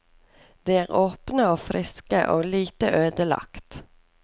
De er åpne og friske og lite ødelagt.